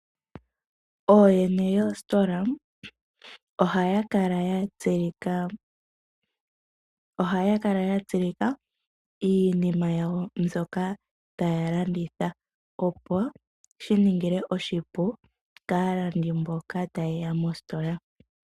Ooyene yoositola ohaya kala ya tsilika iinima yawo mbyoka taya landitha, opo shi ninge oshipu kaalandi mboka ta yeya mositola.